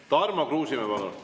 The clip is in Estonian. Tarmo Kruusimäe, palun!